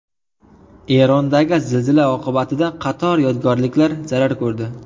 Erondagi zilzila oqibatida qator yodgorliklar zarar ko‘rdi.